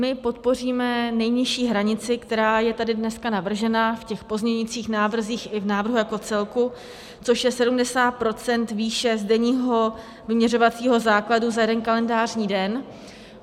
My podpoříme nejnižší hranici, která je tady dneska navržena v těch pozměňujících návrzích i v návrhu jako celku, což je 70 % výše z denního vyměřovacího základu za jeden kalendářní den.